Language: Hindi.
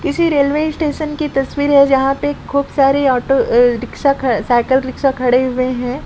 किसी रेल्वे स्टेशन की तस्वीर है जहा पे खूब सारी ऑटो ए रीक्शा ख अ साइकल रिक्शा खड़े हुए है।